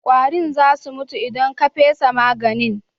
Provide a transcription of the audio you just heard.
Ƙwarin za su mutu idan ka fesa maganin.